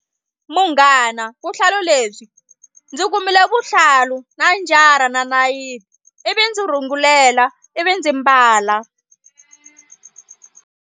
Munghana vuhlalu lebyi ndzi kumile vuhlalu na njara na nayiti ivi ndzi rhungulela ivi ndzi mbala.